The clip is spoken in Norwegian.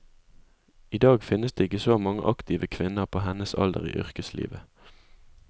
I dag finnes det ikke så mange aktive kvinner på hennes alder i yrkeslivet.